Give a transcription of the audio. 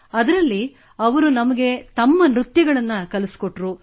ಅದರಲ್ಲಿ ಅವರು ನಮಗೆ ತಮ್ಮ ನೃತ್ಯ ಕಲಿಸಿಕೊಟ್ಟರು